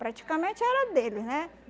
Praticamente era deles, né?